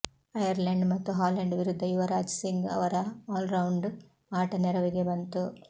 Ireland ಮತ್ತು Holland ವಿರುದ್ಧ ಯುವರಾಜ್ ಸಿಂಗ್ ಅವರ ಆಲ್ರೌಂಡ್ ಆಟ ನೆರವಿಗೆ ಬಂತು